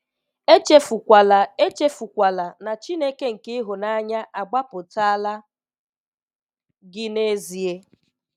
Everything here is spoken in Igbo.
Echefukwala Echefukwala ná Chineke nke ịhụnanya agbapụtala gị n'ezịe!